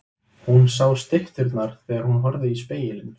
Hún sá stytturnar þegar hún horfði í spegilinn.